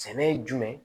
Sɛnɛ ye jumɛn ye